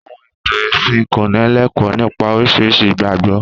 Àwọ̀n ìtàn ẹ̀sìn ń kọ́nílẹkọ́ọ̀ nipa oríṣiríṣi ìgbàgbọ́.